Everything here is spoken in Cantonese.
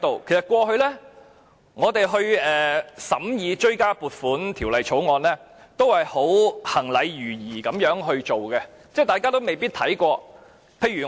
其實，過去我們審議追加撥款條例草案，一向都是行禮如儀，大家都未必看清楚文件。